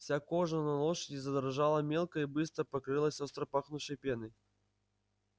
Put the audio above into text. вся кожа на лошади задрожала мелко и быстро и покрылась остро пахнувшей пеной